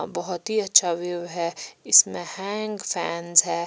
बहोत ही अच्छा व्यू है इसमें हैंग फैंस है।